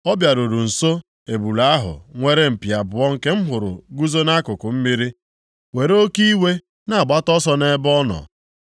Ọ bịaruru nso ebule ahụ nwere mpi abụọ nke m hụrụ guzo nʼakụkụ mmiri, were oke iwe na-agbata ọsọ nʼebe ọ nọ.